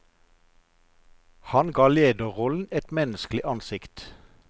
Han ga lederrollen et menneskelig ansikt.